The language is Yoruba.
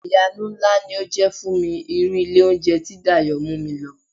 Ìyanu ńlá ni ó jẹ́ fún mi irú ilé oúnjẹ tí Dayọ̀ mú mi lọ.